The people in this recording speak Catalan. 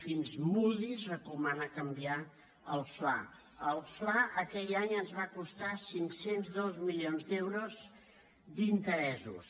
fins moody’s recomana canviar el fla el fla aquell any ens va costar cinc cents i dos milions d’euros d’interessos